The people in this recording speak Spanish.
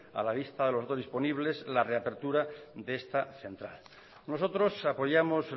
a la vista de los dos disponibles la reapertura de esta central nosotros apoyamos